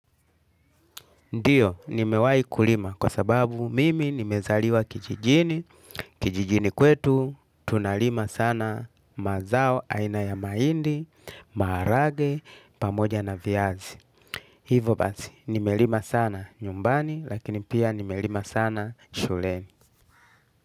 Ndiyo, nimewai kulima kwa sababu mimi nimezaliwa kijijini, kijijini kwetu, tunalima sana mazao aina ya mahindi, maharage, pamoja na viazi. Hivo basi, nimelima sana nyumbani, lakini pia nimelima sana shuleni.